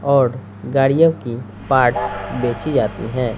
औड़ गाड़ियों की पार्ट्स बेची जातीं हैं।